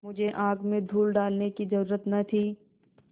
मुझे आँख में धूल डालने की जरुरत न थी